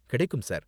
கிடைக்கும் சார்.